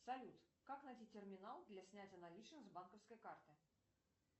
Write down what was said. салют как найти терминал для снятия наличных с банковской карты